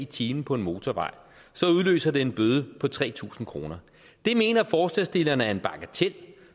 time på en motorvej udløser det en bøde på tre tusind kroner det mener forslagsstillerne er en bagatel